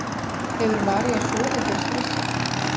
Hefur María sofið fyrir stressi?